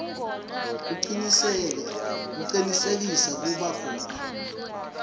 kucinisekisa kuba khona